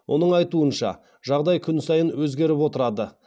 оның айтуынша жағдай күн сайын өзгеріп отырады